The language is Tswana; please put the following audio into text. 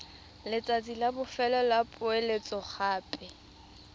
letsatsi la bofelo la poeletsogape